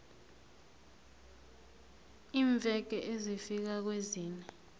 iimveke ezifika kwezine